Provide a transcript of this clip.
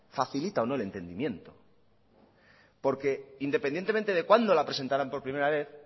facilita o no el entendimiento porque independientemente de cuándo la presentaron por primera vez